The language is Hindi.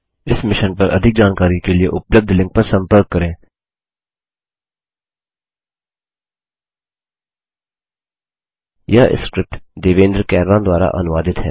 इस मिशन पर अधिक जानकारी के लिए उपलब्ध लिंक पर संपर्क करें httpspoken tutorialorgNMEICT Intro यह स्क्रिप्ट देवेन्द्र कैरवान द्वारा अनुवादित है